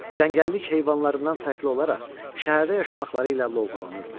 Cəngəllik heyvanlarından fərqli olaraq şəhərdə yaşamaqları ilə lovğalanırdılar.